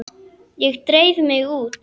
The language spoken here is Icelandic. Ég dreif mig út.